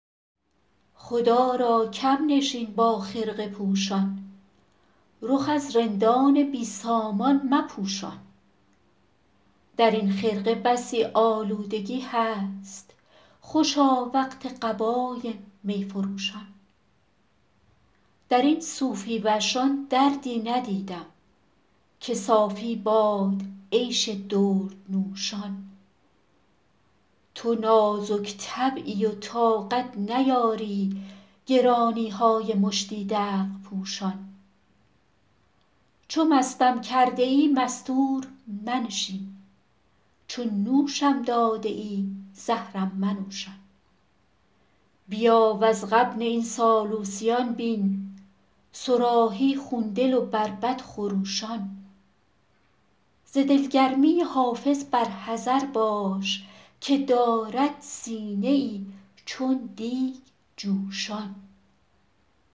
خدا را کم نشین با خرقه پوشان رخ از رندان بی سامان مپوشان در این خرقه بسی آلودگی هست خوشا وقت قبای می فروشان در این صوفی وشان دردی ندیدم که صافی باد عیش دردنوشان تو نازک طبعی و طاقت نیاری گرانی های مشتی دلق پوشان چو مستم کرده ای مستور منشین چو نوشم داده ای زهرم منوشان بیا وز غبن این سالوسیان بین صراحی خون دل و بربط خروشان ز دلگرمی حافظ بر حذر باش که دارد سینه ای چون دیگ جوشان